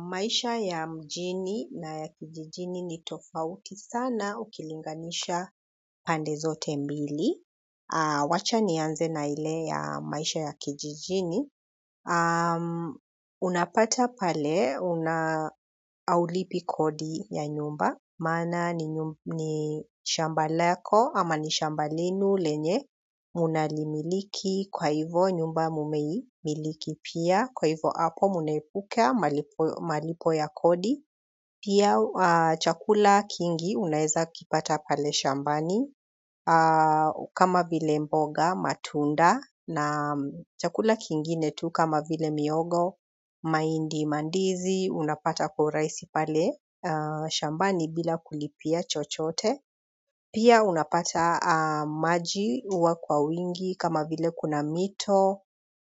Maisha ya mjini na ya kijijini ni tofauti sana ukilinganisha pande zote mbili. Wacha nianze na ile ya maisha ya kijijini unapata pale una haulipi kodi ya nyumba maana ni shamba lako ama ni shamba lenu lenye unalimiliki kwa hivo nyumba mumeimiliki pia kwa hivo hapo mnaepuka malipo ya kodi pia chakula kingi unaeza kipata pale shambani kama vile mboga matunda na chakula kingine tu kama vile mihogo mahindi mandizi unapata kwa urahisi pale shambani bila kulipia chochote pia unapata maji huwa kwa wingi kama vile kuna mito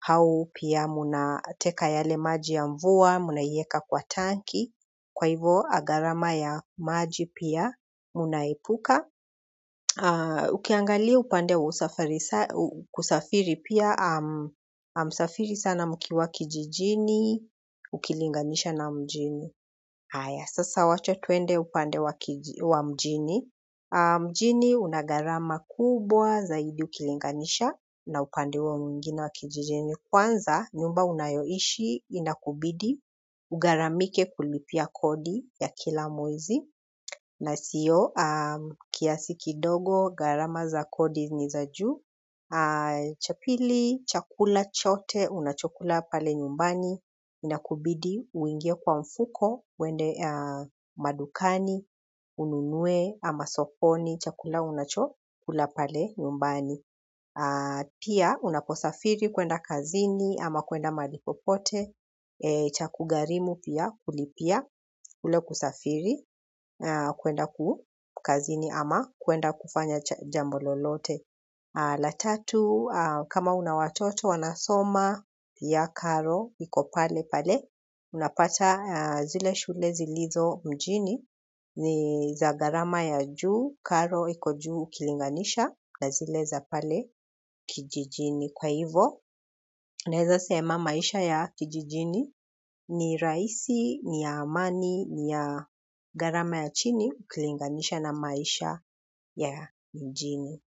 au pia mnateka yale maji ya mvua, mnaieka kwa tanki. Kwa hivyo gharama ya maji pia mnaepuka. Ukiangalia upande wa kusafiri pia hamsafiri sana mkiwa kijijini ukilinganisha na mjini haya, sasa wacha tuende upande wa mjini. Mjini una gharama kubwa zaidi ukilinganisha na upande wa huo mwingine wa kijijini. Kwanza, nyumba unayoishi, inakubidi, ugharamike kulipia kodi ya kila mwezi, na sio kiasi kidogo, gharama za kodi ni za juu, cha pili, chakula chote, unachokula pale nyumbani, inakubidi, uingie kwa mfuko, uende madukani, ununue, ama sokoni, chakula unachokula pale nyumbani. Pia unaposafiri kuenda kazini ama kuenda mahali popote itakugharimu pia kulipia ule kusafiri kuenda ku kazini ama kuenda kufanya jambo lolote la tatu kama una watoto wanasoma pia karo iko pale pale unapata zile shule zilizo mjini ni za gharama ya juu karo iko juu ukilinganisha na zile za pale kijijini. Kwaivo naeza sema maisha ya kijijini ni rahisi niya amani ni ya gharama ya chini ukilinganisha na maisha ya mjini.